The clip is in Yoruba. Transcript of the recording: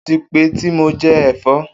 O ti pẹ ti mo jẹ ẹfọ.